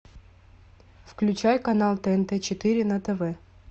включай канал тнт четыре на тв